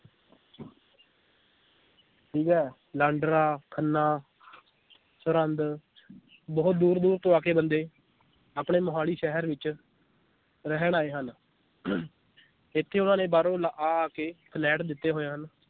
ਠੀਕ ਏ ਲਾਂਡਰਾ, ਖੰਨਾ ਸਰਹੰਦ ਬਹੁਤ ਦੂਰ ਦੂਰ ਤੋਂ ਆ ਕੇ ਬੰਦੇ ਆਪਣੇ ਮੋਹਾਲੀ ਸ਼ਹਿਰ ਵਿਚ ਰਹਿਣ ਆਏ ਹਨ ਇਥੇ ਉਹਨਾਂ ਨੇ ਬਾਹਰੋਂ ਲਾ ਆ ਆ ਕੇ ਫਲੈਟ ਲਿੱਤੇ ਹੋਏ ਹਨ l